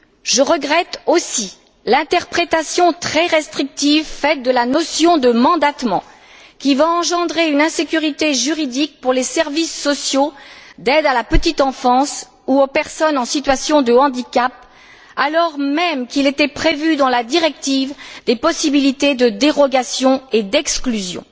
Je regrette aussi l'interprétation très restrictive de la notion de mandatement qui va engendrer une insécurité juridique pour les services sociaux d'aide à la petite enfance ou aux personnes en situation de handicap, alors même qu'il était prévu, dans la directive, des possibilités de dérogation et d'exclusion.